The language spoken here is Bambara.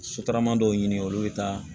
Sotarama dɔw ɲini olu bɛ taa